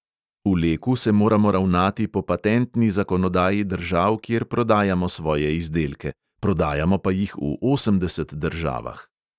V leku se moramo ravnati po patentni zakonodaji držav, kjer prodajamo svoje izdelke, prodajamo pa jih v osemdeset državah.